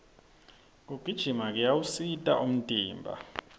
kugijima kuyawusita umtimba